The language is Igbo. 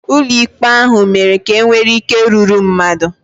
Ụlọ ikpe ahụ mere ka e nwee ike rúrú mmadụ